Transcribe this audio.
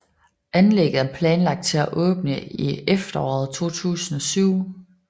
Anlægget er planlagt til at åbne i efteråret 2007